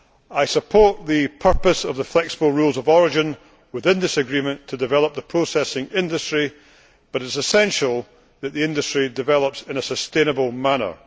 women. I support the purpose of the flexible rules of origin in this agreement, namely, to develop the processing industry, but it is essential that the industry develops in a sustainable manner.